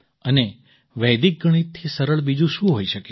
અને વૈદિક ગણિતથી સરળ બીજું શું હોઈ શકે